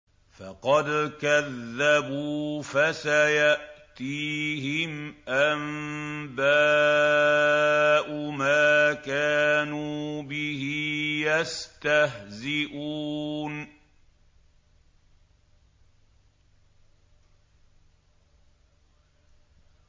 فَقَدْ كَذَّبُوا فَسَيَأْتِيهِمْ أَنبَاءُ مَا كَانُوا بِهِ يَسْتَهْزِئُونَ